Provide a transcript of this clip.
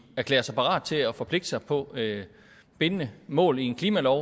erklære sig parate til at forpligte sig på bindende mål i en klimalov